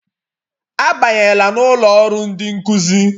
Abanyela n'ụlọ ọrụ ndị nkụzi!